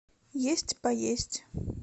есть поесть